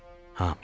Hamıya.